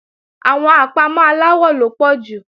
Àwọn àpámọ́ aláwọ ló pọ̀ jù